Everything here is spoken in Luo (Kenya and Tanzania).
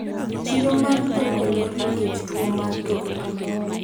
chiro mar dhok olor nikech tuwo mar dhok